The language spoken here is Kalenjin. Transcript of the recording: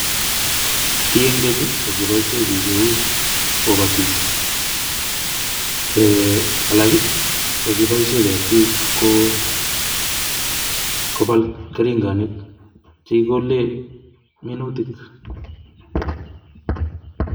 Ki en keny kokiboisien biik eut kobatis eeh alak kokiboisien ketik koo kobal keringonik chekikolee minutik.